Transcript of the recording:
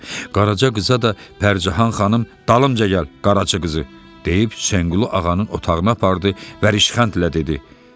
Qaraca qıza da Pərcahan xanım "Dalımca gəl, Qaracı qızı," deyib Həsənqulu ağanın otağına apardı və rişxəndlə dedi: